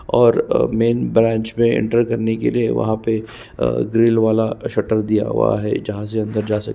और अ main branch में एंटर करने के लिए वहाँ पे ग्रिल वाला सटर दिया हुआ है जहाँ से अंदर जा सके --